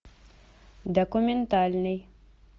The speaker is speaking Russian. документальный